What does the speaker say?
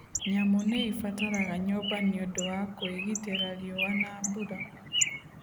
Nyamũ nĩ ibataraga nyũmba nĩ ũndũ wa kũĩgitĩra riũa na mbura.